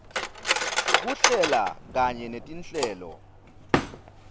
kuhlela kanye netinhlelo